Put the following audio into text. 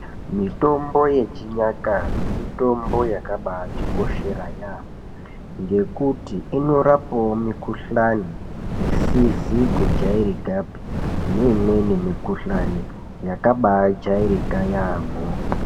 Mitombo yechinyakare mitombo yakabatikoshera yaamho ngekuti inorapawo mikuhlani isizi kujairikapi neimweni mikhuhlani yakabaijairika yaamho.